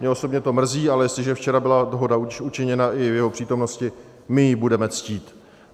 Mě osobně to mrzí, ale jestliže včera byla dohoda učiněna i v jeho přítomnosti, my ji budeme ctít.